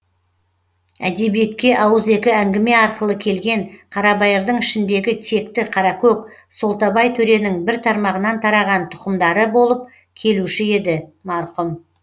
әдебиетке ауызекі әңгіме арқылы келген қарабайырдың ішіндегі текті қаракөк солтабай төренің бір тармағынан тараған тұқымдары болып келуші еді марқұм